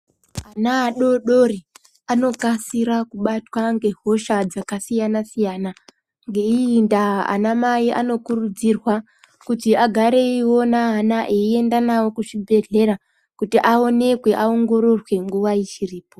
Ana adodori anokasira kubatwa ngehosha dzakasiyana-siyana. Ngeiyi ndaa ana mai anokurudzirwa kuti agare eiona ana eienda navo kuzvibhedhlera kuti aonekwe aongororwe nguva ichiripo.